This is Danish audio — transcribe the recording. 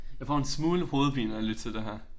Jeg får en smule hovedpine af at lytte til det her